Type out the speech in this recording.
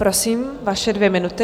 Prosím, vaše dvě minuty.